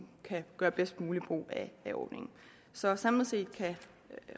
kan gøre bedst muligt brug af ordningen så samlet set kan